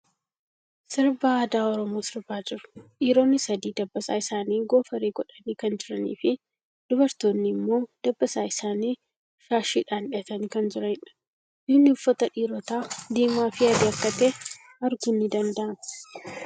Sirbaa aadaa Oromoo sirbaa jiru. Dhiironni sadi dabbasaa isaanii goofaree godhanii kan jiranii fi dubartoonni immoo dabbasaa isaanii shaashidhan hidhatanii kan jiraniidha. Bifni uffata dhiirotaa diimaa fii adii akka ta'ee arguun ni danda'ama.